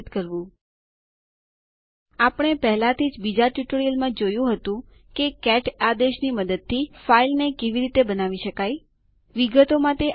પૂર્વજરૂરિયાત તરીકે general purpose utilities in Linux પરના મૌખિક ટ્યુટોરીયલ મારફતે જવા માટે વિનંતી છે